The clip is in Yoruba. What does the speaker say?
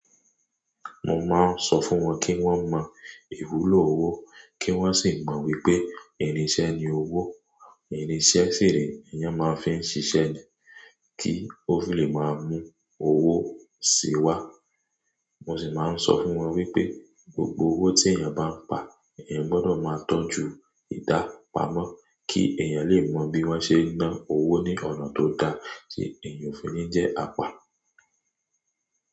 Mo máa ń sọ fún wọn kí wọ́n mọ ìwúlò owó, kí wọ́n sì mọ wípé irinṣẹ́ ni owó. Irinṣẹ́ ṣire eeyan máa ń fi ń ṣiṣẹ́ ni kí ó fi lè máa mú owó síi wá. Mo sì máa ń sọ fún wọn wípé gbogbo owó tí èèyàn bá ń pa, èèyàn gbọ́dọ̀ máa tọ́jú ìdá pamọ́ kí èèyàn lè mọ bí wọ́n ṣe ń ná owó ní ọ̀nà tó da tí èèyàn ò fi ní jẹ́ apá.